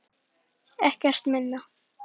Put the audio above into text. Ekkert minna.